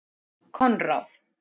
Konráð